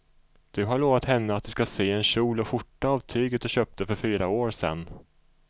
Du har lovat henne att du ska sy en kjol och skjorta av tyget du köpte för fyra år sedan.